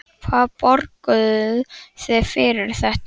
Hvað borguðuð þið fyrir þetta?